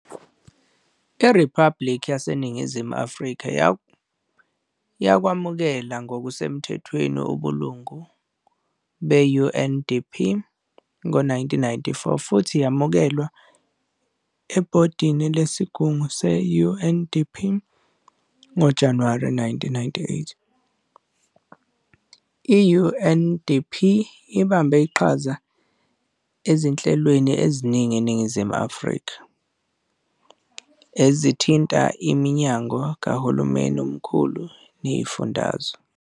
IRiphabhulikhi yaseNingizimu Afrika yakwamukela ngokusemthethweni ubulungu be-UNDP ngo-1994 futhi yamukelwa ebhodini lesigungu se-UNDP ngoJanuwari 1998. I-UNDP ibambe iqhaza ezinhlelweni eziningi eNingizimu Afrika ezithinta iminyango kahulumeni omkhulu neyezifundazwe.